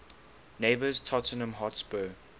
neighbours tottenham hotspur